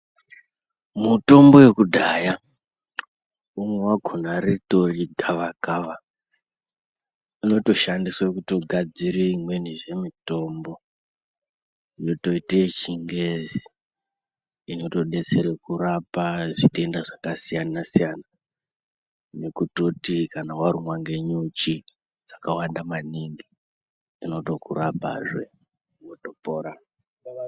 Mutombo wekudhaya umwe wakhona ritori gavakava rinotoshandiswa kugadzira imwenizve mitombo yotoite yechingezi inotidetsera kurapa zvitenda zvakasiyana -siyana nekutoti kana warumwa ngenyuchi dzakawanda maningi unotokurapa wopora